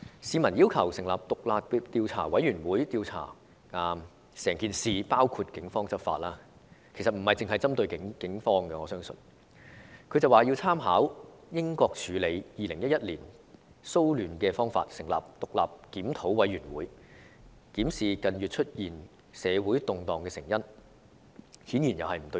市民要求成立獨立調查委員會，徹查整宗事件，包括警方執法——其實我相信這不單是針對警方——但她卻說要參考英國處理2011年騷亂的方式，成立獨立檢討委員會，檢視近月出現社會動盪的成因，顯然又是不對焦。